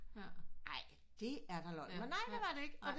Ej det er da løgn men nej det var det ikke